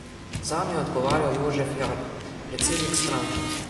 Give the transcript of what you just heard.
Zanjo je odgovarjal Jožef Jarh, predsednik stranke.